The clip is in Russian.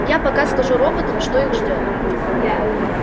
я пока скажу роботам что их ждёт